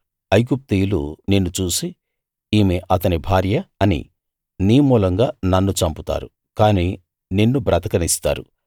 ఐగుప్తీయులు నిన్ను చూసి ఈమె అతని భార్య అని నీ మూలంగా నన్ను చంపుతారు కాని నిన్ను బ్రతకనిస్తారు